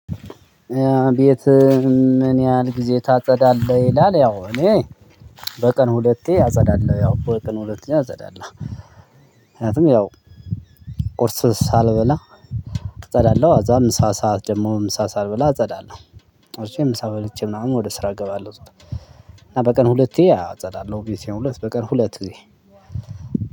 ቤትህን ምን ያህል ግዜ ታጸዳለህ ይላል? ያው እኔ በቀን ሁለቴ አጸዳለሁ ያው በቀን ሁለቴ አጸዳለሁ። ምክንያቱም ያው ቁርስ ሳልበላ ከዛ ምሳ ሰዓት ደግሞ ምሳ ሳልብላ አጸዳለሁ። አጽድቼ ምሳ በልቼ ምናምን ወደ ስራ እገባለሁ እና በቀን ሁለቴ አጸዳለሁ ቤቴን ሁለት በቀን ሁለት ግዜ